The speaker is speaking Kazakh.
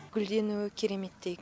гүлденуі кереметтей